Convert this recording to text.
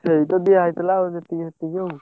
ସେଇତ ଦିଆହେଇଥିଲା ଆଉ ଯେତିକି ସେତିକି ଆଉ।